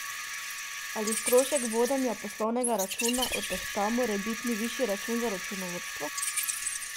Ali strošek vodenja poslovnega računa odtehta morebitni višji račun za računovodstvo?